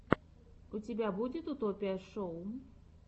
у тебя будет утопия шоу